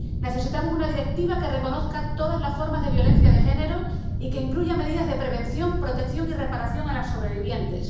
Necesitamos una directiva que reconozca todas las formas de violencia de género y que incluya medidas de prevención, protección y reparación a las sobrevivientes